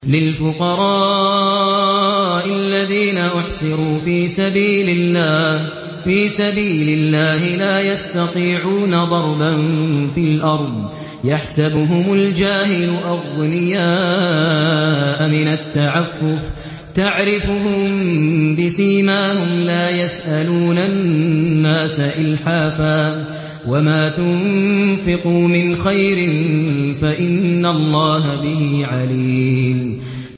لِلْفُقَرَاءِ الَّذِينَ أُحْصِرُوا فِي سَبِيلِ اللَّهِ لَا يَسْتَطِيعُونَ ضَرْبًا فِي الْأَرْضِ يَحْسَبُهُمُ الْجَاهِلُ أَغْنِيَاءَ مِنَ التَّعَفُّفِ تَعْرِفُهُم بِسِيمَاهُمْ لَا يَسْأَلُونَ النَّاسَ إِلْحَافًا ۗ وَمَا تُنفِقُوا مِنْ خَيْرٍ فَإِنَّ اللَّهَ بِهِ عَلِيمٌ